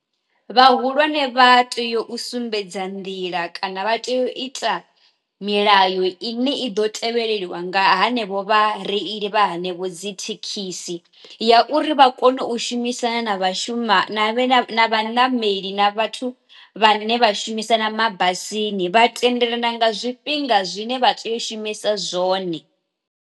Vha hulwane vha tea u sumbedza nḓila kana vha tea u ita milayo i ne i ḓo tevheleliwa nga hanevho vha reili vha hanevho dzi thekhisi, ya uri vha kone u shumisana na vhashuma vhe na vhanameli na vhathu vha ne vha shumisana mabasini vha tendelana nga zwi fhinga zwine vha tea u shumisa zwone.